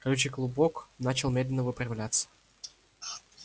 колючий клубок начал медленно выпрямляться